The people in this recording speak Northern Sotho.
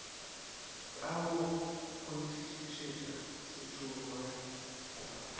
ka go kgonthišišetša se tšhoge